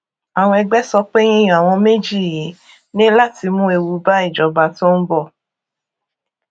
àwọn ẹgbẹ sọ pé yíyan àwọn méjì yìí ní láti mú ewu bá ìjọba tó ń bọ